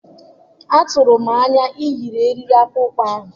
Atụrụ m anya iyi eriri akpụkpọ anụ